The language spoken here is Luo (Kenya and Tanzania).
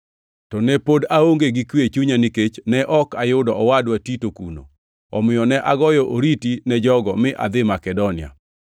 to ne pod aonge gi kwe e chunya nikech ne ok ayudo owadwa Tito kuno. Omiyo ne agoyo oriti ne jogo, mi adhi Makedonia.